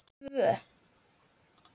Við tvö.